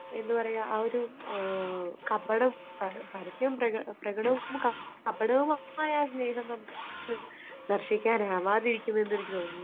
എന്താ പറയുക ആ ഒരു കപട, പരസ്യവും പ്രകടവും കപടവുമായ ആ സ്നേഹം നമുക്ക് ദർശിക്കാൻ ആവാതിരിക്കും എന്ന് എനിക്ക് തോന്നുന്നു.